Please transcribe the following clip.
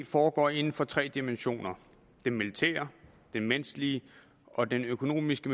foregår inden for tre dimensioner den militære den menneskelige og den økonomiske